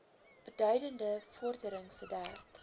beduidende vordering sedert